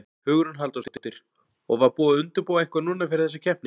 Hugrún Halldórsdóttir: Og var búið að undirbúa eitthvað núna fyrir þessa keppni?